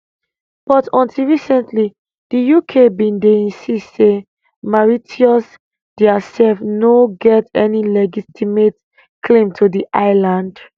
but until recently di uk bin dey insist say mauritius diasef no get any legitimate claim to di islands